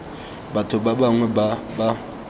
batho ba bangwe ba ba